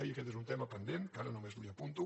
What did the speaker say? i aquest és un tema pendent que ara només li apunto